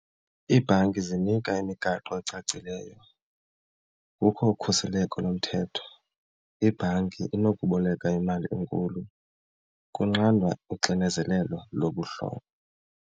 Iibhanki zinika imigaqo ecacileyo, kukho ukhuseleko lomthetho. Ibhanki inokuboleka imali enkulu, kunqandwa uxinezelelo lobuhlobo.